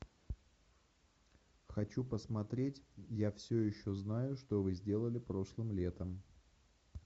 хочу посмотреть я все еще знаю что вы сделали прошлым летом